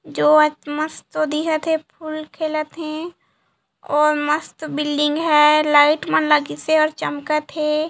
जो आत मस्त दिखत हे फुल खेलत हे और मस्त बिल्डिंग है लाइट मन लगिसे चमकत हे।